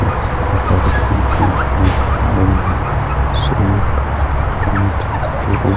یھاں صوفہ ساری یھاں set pant ladies --